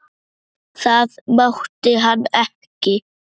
Það mátti hann ekki.